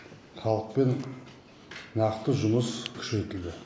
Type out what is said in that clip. халықпен нақты жұмыс күшейтілді